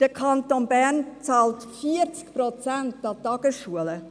Der Kanton Bern zahlt 40 Prozent an die Tagesschulen,